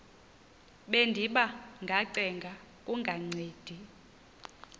bendiba ngacenga kungancedi